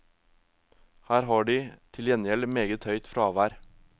Her har de til gjengjeld meget høyt fravær.